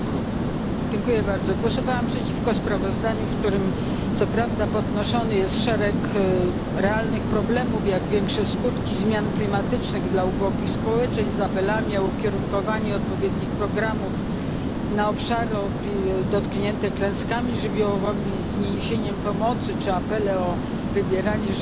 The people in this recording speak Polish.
Głosowałam przeciwko sprawozdaniu, w którym co prawda podnoszony jest szereg realnych problemów, jak większe skutki zmian klimatycznych dla ubogich społeczeństw z apelami o ukierunkowanie odpowiednich programów na obszary dotknięte klęskami żywiołowymi, z niesieniem pomocy czy apele o wybieranie żywności lokalnej